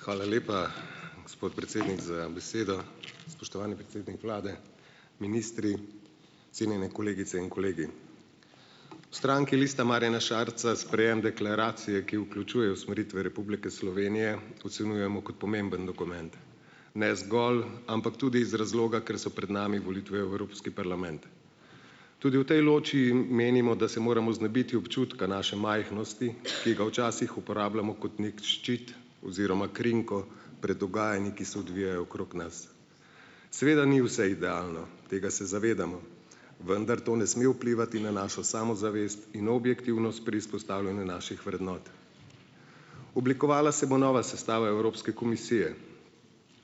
Hvala lepa, gospod predsednik, za besedo. Spoštovani predsednik vlade, ministri, cenjene kolegice in kolegi. V stranki Lista Marjana Šarca sprejem deklaracije, ki vključuje usmeritve Republike Slovenije, ocenjujemo kot pomemben dokument, ne zgolj, ampak tudi iz razloga, ker so pred nami volitve v Evropski parlament. Tudi v tej loči, menimo, da se moramo znebiti občutka naše majhnosti, ki ga včasih uporabljamo kot neki ščit oziroma krinko pred dogajanji, ki se odvijajo okrog nas. Seveda ni vse idealno, tega se zavedamo, vendar to ne sme vplivati na našo samozavest in objektivnost pri izpostavljanju naših vrednot. Oblikovala se bo nova sestava Evropske komisije.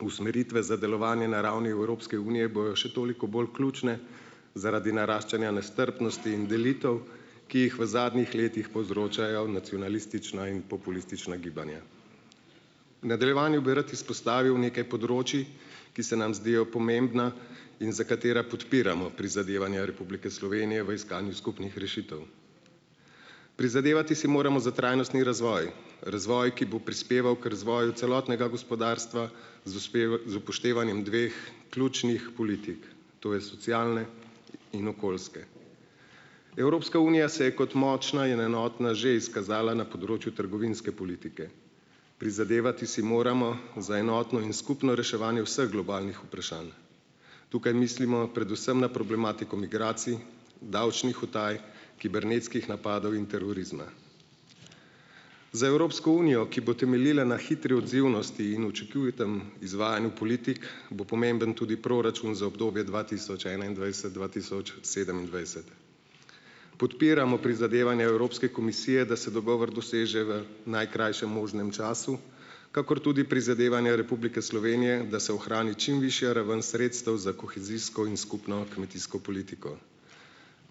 Usmeritve za delovanje na ravni Evropske unije bojo še toliko bolj ključne zaradi naraščanja nestrpnosti in delitev , ki jih v zadnjih letih povzročajo nacionalistična in populistična gibanja. V nadaljevanju bi rad izpostavil nekaj področij, ki se nam zdijo pomembna in za katera podpiramo prizadevanja Republike Slovenije v iskanju skupnih rešitev. Prizadevati si moramo za trajnostni razvoj, razvoj, ki bo prispeval k razvoju celotnega gospodarstva z z upoštevanjem dveh ključnih politik, to je socialne in okoljske. Evropska unija se je kot močna in enotna že izkazala na področju trgovinske politike. Prizadevati si moramo za enotno in skupno reševanje vseh globalnih vprašanj. Tukaj mislimo predvsem na problematiko migracij, davčnih utaj, kibernetskih napadov in terorizma. Za Evropsko unijo, ki bo temeljila na hitri odzivnosti in učinkovitem izvajanju politik, bo pomemben tudi proračun za obdobje dva tisoč enaindvajset-dva tisoč sedemindvajset. Podpiramo prizadevanja Evropske komisije, da se dogovor doseže v najkrajšem možnem času, kakor tudi prizadevanja Republike Slovenije, da se ohrani čim višja raven sredstev za kohezijsko in skupno kmetijsko politiko.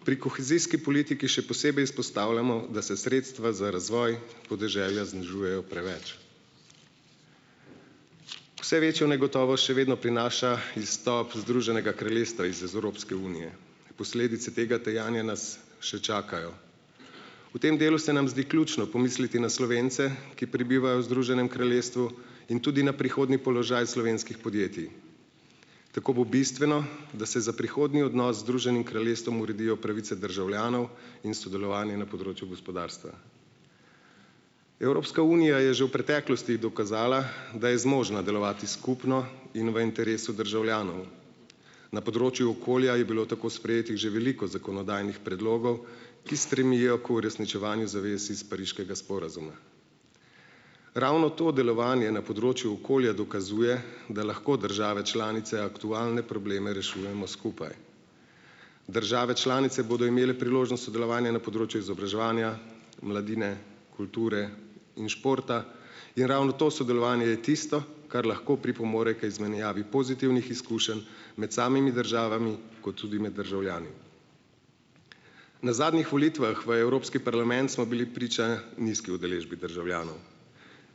Pri kohezijski politiki še posebej izpostavljamo, da se sredstva za razvoj podeželja znižujejo preveč. Vse večjo negotovost še vedno prinaša izstop Združenega kraljestva iz z Evropske unije. Posledice tega dejanja nas še čakajo. V tem delu se nam zdi ključno pomisliti na Slovence, ki prebivajo v Združenem kraljestvu, in tudi na prihodnji položaj slovenskih podjetij. Tako bo bistveno, da se za prihodnji odnos Združenim kraljestvom uredijo pravice državljanov in sodelovanje na področju gospodarstva. Evropska unija je že v preteklosti dokazala, da je zmožna delovati skupno in v interesu državljanov. Na področju okolja je bilo tako sprejetih že veliko zakonodajnih predlogov, ki stremijo k uresničevanju zavez iz Pariškega sporazuma. Ravno to delovanje na področju okolja dokazuje, da lahko države članice aktualne probleme rešujemo skupaj. Države članice bodo imele priložnost sodelovanja na področju izobraževanja, mladine, kulture in športa in ravno to sodelovanje je tisto, kar lahko pripomore k izmenjavi pozitivnih izkušenj med samimi državami kot tudi med državljani. Na zadnjih volitvah v Evropski parlament smo bili priča nizki udeležbi državljanov.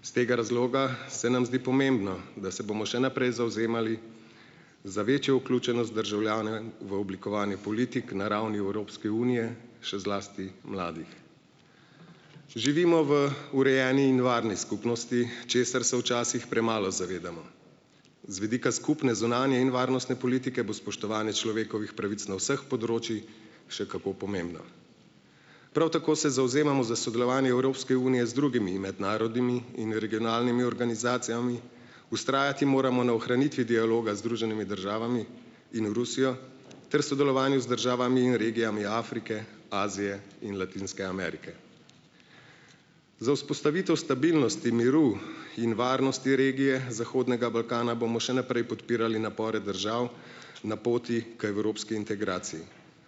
S tega razloga se nam zdi pomembno, da se bomo še naprej zavzemali za večjo vključenost državljane v oblikovanje politik na ravni Evropske unije, še zlasti mladih. Živimo v urejeni in varni skupnosti, česar se včasih premalo zavedamo. Z vidika skupne zunanje in varnostne politike bo spoštovanje človekovih pravic na vseh področij še kako pomembno. Prav tako se zavzemamo za sodelovanje Evropske unije z drugimi mednarodnimi in regionalnimi organizacijami, vztrajati moramo na ohranitvi dialoga z Združenimi državami in Rusijo ter sodelovanju z državami in regijami Afrike, Azije in Latinske Amerike. Za vzpostavitev stabilnosti, miru in varnosti regije zahodnega Balkana bomo še naprej podpirali napore držav na poti k evropski integraciji.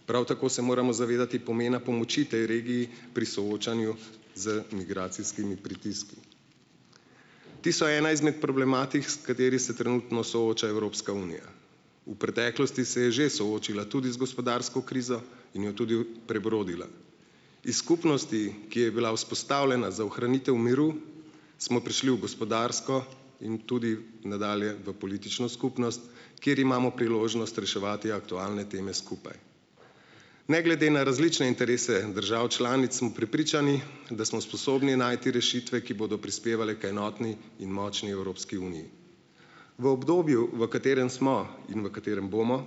Prav tako se moramo zavedati pomena pomoči tej regiji pri soočanju z migracijskimi pritiski. Ti so ena izmed problematik, s katerimi se trenutno sooča Evropska unija. V preteklosti se je že soočila tudi z gospodarsko krizo in jo tudi prebrodila. Iz skupnosti, ki je bila vzpostavljena za ohranitev miru, smo prišli v gospodarsko in tudi nadalje v politično skupnost, kjer imamo priložnost reševati aktualne teme skupaj. Ne glede na različne interese držav članic smo prepričani, da smo sposobni najti rešitve, ki bodo prispevale k enotni in močni Evropski uniji. V obdobju, v katerem smo in v katerem bomo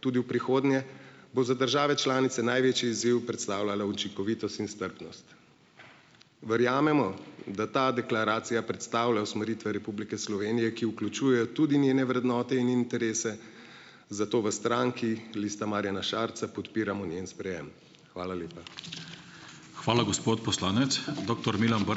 tudi v prihodnje, bo za države članice največji izziv predstavljala učinkovitost in strpnost. Verjamemo, da ta deklaracija predstavlja usmeritve Republike Slovenije, ki vključujejo tudi njene vrednote in interese, zato v stranki Lista Marjana Šarca podpiramo njen sprejem. Hvala lepa. Hvala, gospod poslanec. Doktor Milan ...